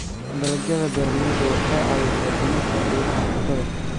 Dalagyada beeralayda waxay caawiyaan dhimista qiimaha cuntada.